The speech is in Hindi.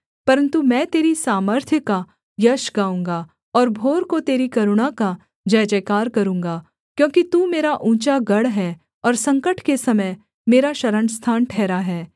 परन्तु मैं तेरी सामर्थ्य का यश गाऊँगा और भोर को तेरी करुणा का जयजयकार करूँगा क्योंकि तू मेरा ऊँचा गढ़ है और संकट के समय मेरा शरणस्थान ठहरा है